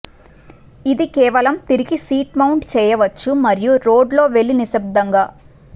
ఇది కేవలం తిరిగి సీటు మౌంట్ చేయవచ్చు మరియు రోడ్ లో వెళ్ళి నిశ్శబ్దంగా